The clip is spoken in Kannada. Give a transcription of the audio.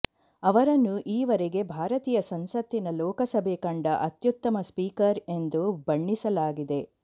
ಅವರನ್ನು ಈವರೆಗೆ ಭಾರತೀಯ ಸಂಸತ್ತಿನ ಲೋಕಸಭೆ ಕಂಡ ಅತ್ಯುತ್ತಮ ಸ್ಪೀಕರ್ ಎಂದು ಬಣ್ಣಿಸಲಾಗಿದೆ